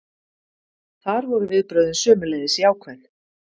Þar voru viðbrögðin sömuleiðis jákvæð.